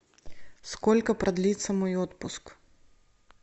сколько продлится мой отпуск